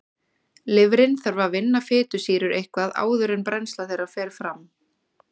Lifrin þarf að vinna fitusýrur eitthvað áður en brennsla þeirra fer fram.